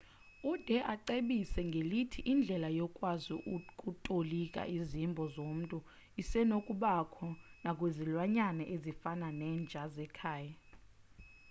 ude acebise ngelithi indlela yokwazi ukutolika izimbo zomntu isenokubakho nakwizilwanyana ezifana nenja zekhaya